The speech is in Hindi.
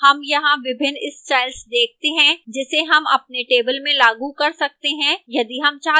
हम यहां विभिन्न styles देखते हैं जिसे हम अपने table में लागू कर सकते हैं यदि आप चाहते हैं